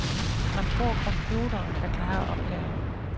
Man tror, computeren kan klare opgaven.